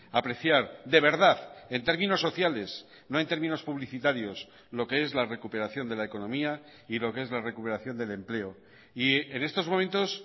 apreciar de verdad en términos sociales no en términos publicitarios lo que es la recuperación de la economía y lo que es la recuperación del empleo y en estos momentos